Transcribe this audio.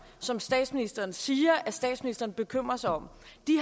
som statsministeren siger at statsministeren bekymrer sig om